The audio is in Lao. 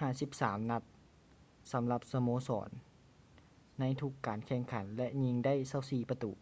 53 ນັດ ສຳລັບສະໂມສອນໃນທຸກການແຂ່ງຂັນ ແລະ ຍິງໄດ້ 24 ປະຕູ